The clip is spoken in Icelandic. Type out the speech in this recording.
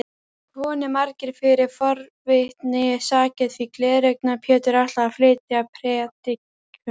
Komu margir fyrir forvitnisakir því Gleraugna-Pétur ætlaði að flytja prédikun.